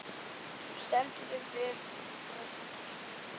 Þú stendur þig vel, Brestir!